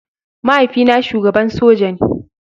Mahaifina shugaban soja ne.